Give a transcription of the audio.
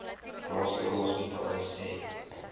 plaaslike hospitale sê